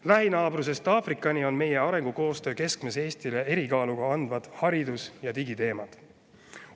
Lähinaabrusest Aafrikani on meie arengukoostöö keskmes Eestile erikaalu andvad haridus- ja digiteemad.